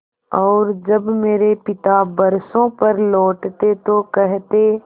और जब मेरे पिता बरसों पर लौटते तो कहते